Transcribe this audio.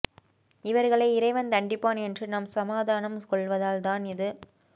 இவர்களை இறைவன் தண்டிப்பான் என்று நாம் சமாதானம் கொள்வதால் தான் இது